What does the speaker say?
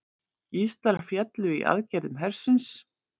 Gíslar féllu í aðgerðum hersins